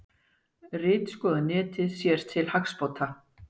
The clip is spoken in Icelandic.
Ritskoða netið sér til hagsbóta